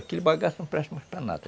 Aquele bagaço não presta mais para nada.